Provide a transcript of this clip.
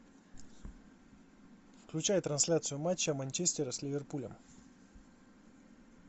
включай трансляцию матча манчестера с ливерпулем